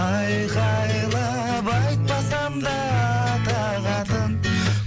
айқайлап айтпасам да атақ атың